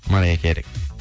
мэрайя кэри